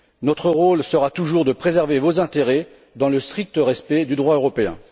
Notre rôle sera toujours de préserver vos intérêts dans le strict respect du droit européen.